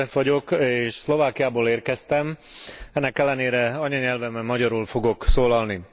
Nagy József vagyok és Szlovákiából érkeztem, ennek ellenére anyanyelvemen, magyarul fogok felszólalni.